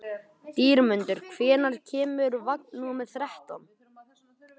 Dýrmundur, hvenær kemur vagn númer þrettán?